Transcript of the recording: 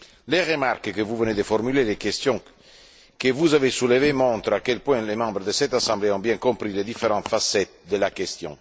Les remarques que vous venez de formuler et les questions que vous avez soulevées montrent à quel point les membres de cette Assemblée ont bien compris les différentes facettes de la question.